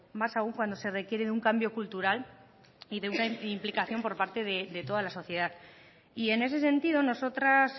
más aún cuando se requiere de un cambio cultural y de una implicación por parte de toda la sociedad y en ese sentido nosotras